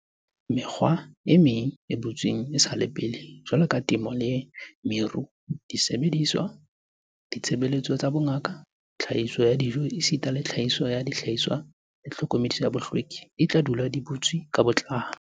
"Mekga e meng e butsweng esale pele, jwaloka temo le meru, disebediswa, ditshebeletso tsa bongaka, tlhahiso ya dijo esita le tlhahiso ya dihlahiswa tsa tlhokomelo ya bohlweki, di tla dula di butswe ka botlalo."